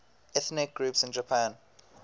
ethnic groups in japan